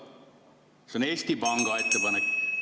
See on Eesti Panga ettepanek.